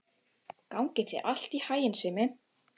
Gangi þér allt í haginn, Simmi.